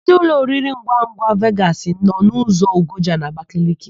Ndị ụlọoriringwangwa Vegasị nọ ụzọ Ogoja n'Abakeleke.